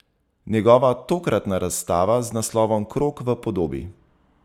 Njegova tokratna razstava z naslovom Krog v podobi.